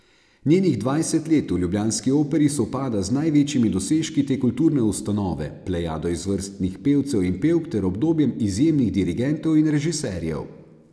Njenih dvajset let v ljubljanski Operi sovpada z največjimi dosežki te kulturne ustanove, plejado izvrstnih pevcev in pevk ter obdobjem izjemnih dirigentov in režiserjev.